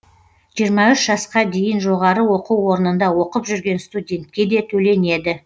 жиырма үш жасқа дейін жоғары оқу орнында оқып жүрген студентке де төленеді